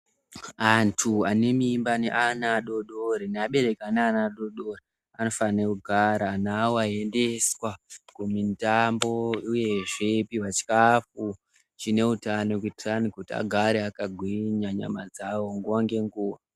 Antu ane mimba neana adodori neabereki ane ane ana adodori anofanire kugara na endeswa Kumindambo uyezve pihwa chikafu chine hutano kuitisani agarw akagwinya nyama dzawo nguwa ngenguwa.